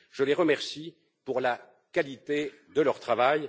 Je les remercie pour la qualité de leur travail.